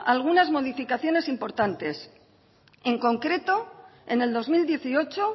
algunas modificaciones importantes en concreto en el dos mil dieciocho